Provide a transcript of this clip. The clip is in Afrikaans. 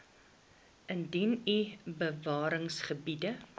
indien u bewaringsgebiede